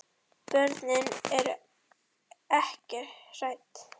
Börnin eru ekki hrædd.